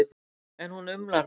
En hún umlar bara.